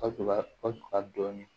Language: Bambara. Ka tubabu